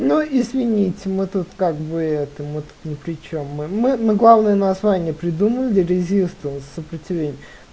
ну извините мы тут как бы это вот тут не причём мы главное название придумал резистор сопротивление